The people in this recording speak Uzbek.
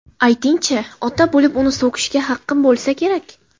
Ayting-chi, ota bo‘lib uni so‘kishga haqqim bo‘lsa kerak?